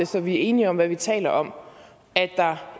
så vi er enige om hvad vi taler om at der